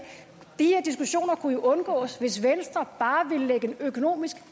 kunne undgås hvis venstre bare ville lægge en økonomisk